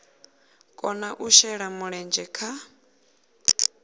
kona u shela mulenzhe kha